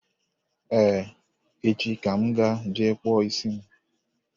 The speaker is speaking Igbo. Ee, echi ka m ga-eje kpụọ isi m.